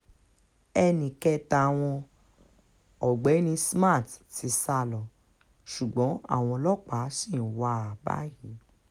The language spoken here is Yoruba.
ẹnì kẹta wọn ọ̀gbẹ́ni smart ti sá lọ ṣùgbọ́n àwọn ọlọ́pàá ṣì ń wá a báyìí